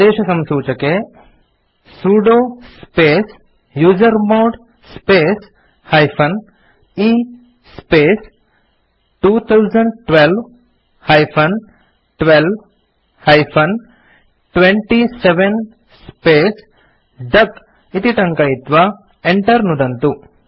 आदेशसंसूचके sudo space usermod space - e space 2012 - 12 -27 space duck इति टङ्कयित्वा enter नुदन्तु